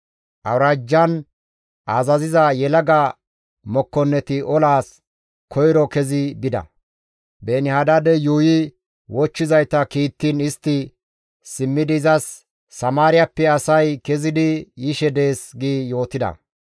Awuraajjan azaziza yelaga mokkonneti olaas koyro kezi bida. Beeni-Hadaadey yuuyi wochchizayta kiittiin istti simmidi izas, «Samaariyappe asay kezidi yishe dees» gi yootida.